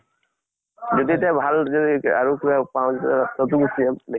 যদি এতিয়া ভাল যদি আৰু কিবা পাওঁ তেতিয়াহলে তাতো গুছি যাম।